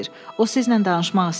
O sizinlə danışmaq istəyir.